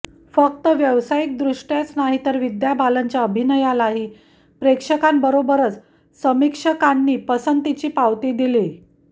फक्त व्यासायिक दृष्टायच नाही तर विद्या बालनच्या अभिनयालाही प्रेक्षकांबरोबरच समीक्षकांनी पसंतीची पावती दिलीय